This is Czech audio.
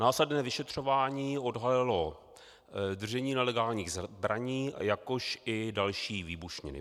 Následné vyšetřování odhalilo držení nelegálních zbraní, jakož i další výbušniny.